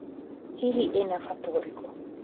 Hihi ĩna bata ũrĩkũ?